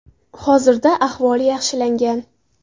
Hozirda ahvoli yaxshilangan.